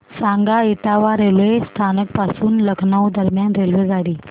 सांगा इटावा रेल्वे स्थानक पासून लखनौ दरम्यान रेल्वेगाडी